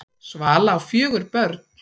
Svala á fjögur börn.